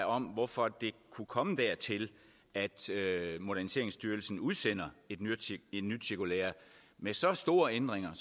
om hvorfor det kunne komme dertil at moderniseringsstyrelsen udsendte et nyt nyt cirkulære med så store ændringer